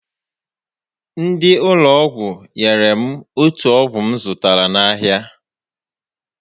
Ndị ụlọ ọgwụ nyèrè m otù ọgwụ m zụtara n'ahịa